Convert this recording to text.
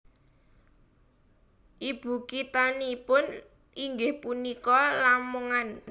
Ibukithanipun inggih punika Lamongan